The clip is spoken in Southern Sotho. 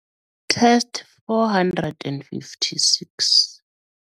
test456